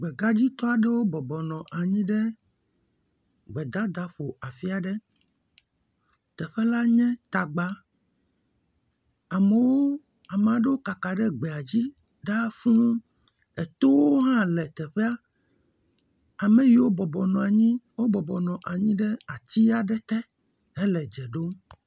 Gbe ɖe me nutata aɖe nye si, amewo nɔa nyigba, eƒe lãwo hã nɔ anyi ɖe wogbɔ eye wonɔ anyi ɖe ƒuƒoƒo vovovowo me le ati ɖe gɔme eye oooo le gbe dada aɖe ƒo.